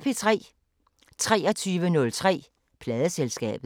23:03: Pladeselskabet